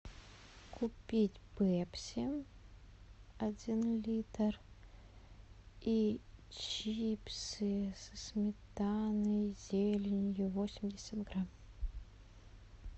купить пепси один литр и чипсы со сметаной и зеленью восемьдесят грамм